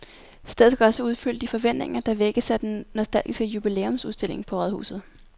Stedet skal også opfylde de forventninger, der vækkes af den nostalgiske jubilæumsudstilling på rådhuset.